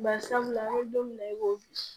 Bari sabula an ye don min na i ko bi